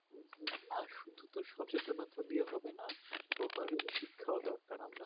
না শুধু তো সচেতন হলে হবে না শিক্ষাও দরকার